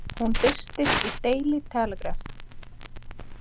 Hún birtist í Daily Telegraph.